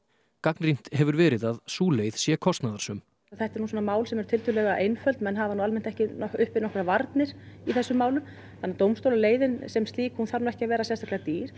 gagnrýnt hefur verið að sú leið sé kostnaðarsöm þetta eru nú svona mál sem eru tiltölulega einföld menn hafa yfirleitt ekki uppi miklar varnir í þessum málum þannig að dómstólaleiðin sem slík þarf nú ekki að vera sérstaklega dýr